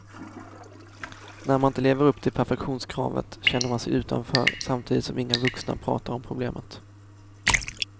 När man inte lever upp till perfektionskravet känner man sig utanför samtidigt som inga vuxna pratar om problemet.